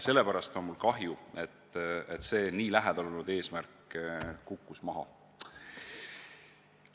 Mul on kahju, et see nii lähedal olnud eesmärk kukkus maha.